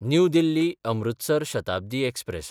new दिल्ली–अमृतसर Shatabdi express